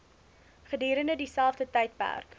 gedurende dieselfde tydperk